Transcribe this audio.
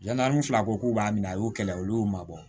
Yann'an fila ko k'u b'a minɛ a y'u kɛlɛ olu y'u mabɔ